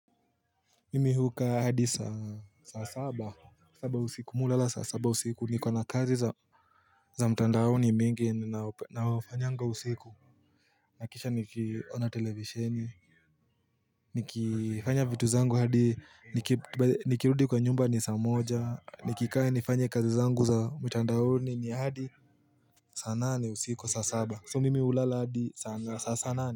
Mimi hukaa hadi saa saba usiku mi hulala sasaba usiku niko na kazi za za mtandaoni mingi naofanyanga usiku Nakisha nikiona televisheni Nikifanya vitu zangu hadi nikirudi kwa nyumba ni saa moja nikikae nifanye kazi zangu za mtandaoni ni hadi saa nane usiku saa saba So mimi hulala hadi sa sa nane.